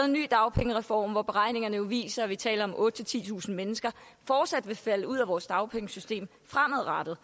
ny dagpengereform hvor beregningerne jo viser at vi taler om at otte tusind titusind mennesker fortsat vil falde ud af vores dagpengesystem fremadrettet